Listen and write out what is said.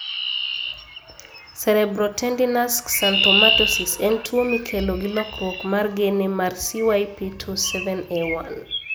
Cerebrotendinous xanthomatosis en tuwo mikelo gi lokruok mar gene mar CYP27A1.